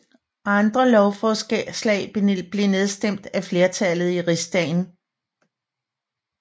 Andre lovforslag blev nedstemt af flertallet i rigsdagen